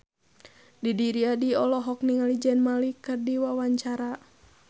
Didi Riyadi olohok ningali Zayn Malik keur diwawancara